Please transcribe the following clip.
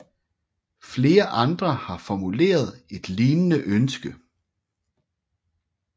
Flere andre har formuleret et lignende ønske